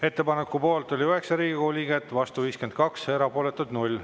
Ettepaneku poolt oli 9 Riigikogu liiget, vastu 52 ja erapooletuid 0.